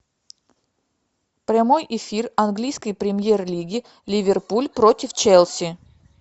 прямой эфир английской премьер лиги ливерпуль против челси